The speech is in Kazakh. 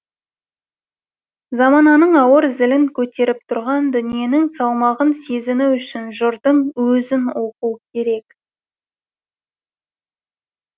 замананың ауыр зілін көтеріп тұрған дүниенің салмағын сезіну үшін жырдың өзін оқу керек